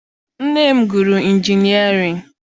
Nne m gụrụ injinịarịn.